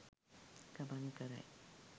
ගමන් කරයි.